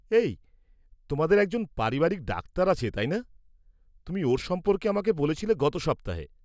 -এই, তোমাদের একজন পারিবারিক ডাক্তার আছে , তাই না? তুমি ওঁর সম্পর্কে আমাকে বলছিলে গত সপ্তাহে।